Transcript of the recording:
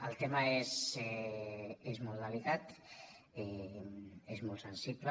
el tema és molt delicat és molt sensible